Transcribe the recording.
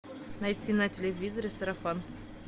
найти на телевизоре сарафан